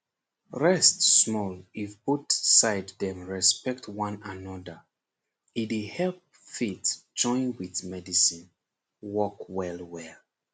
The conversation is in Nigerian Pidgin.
rest small-- if both side dem respect one anoda e dey help faith join with medicine work well well.